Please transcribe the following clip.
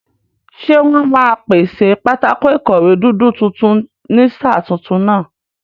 Ṣé wọ́n máa pèsè pátákó ìkọ̀wé dúdú tuntun ní sáà tuntun náà?